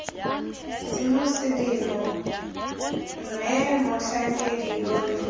semoseleme mme motlhankedi yoo yo